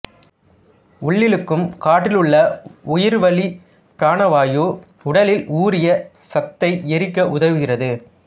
உள்ளிழுக்கும் காற்றிலுள்ள உயிர்வளிபிராண வாயு உடலில் ஊறிய சத்தை எரிக்க உதவுகிறது